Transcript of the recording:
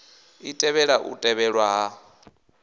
i tevhela u tevhelwa ha